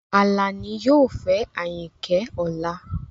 Alani yoo fẹ Ayinke ọla